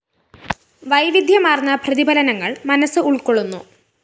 വൈവിദ്ധ്യമാര്‍ന്ന പ്രതിഫലനങ്ങള്‍ മനസ്സ് ഉള്‍ക്കൊള്ളുന്നു